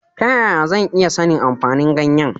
Ta yaya zan iya sanin amfanin ganyen?